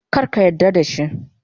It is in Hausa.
Kar ka yarda da shi.